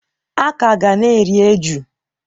A ka ga na-eri eju.